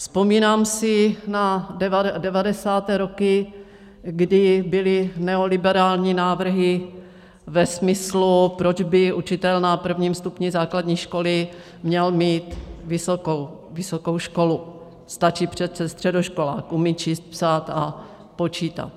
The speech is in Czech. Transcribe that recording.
Vzpomínám si na 90. roky, kdy byly neoliberální návrhy ve smyslu: proč by učitel na prvním stupni základní školy měl mít vysokou školu, stačí přece středoškolák, umí číst, psát a počítat.